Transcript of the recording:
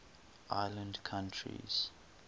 island countries